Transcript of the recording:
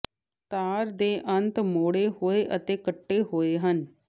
ਤਾਰ ਦੇ ਅੰਤ ਮੋੜੇ ਹੋਏ ਅਤੇ ਕੱਟੇ ਹੋਏ ਹਨ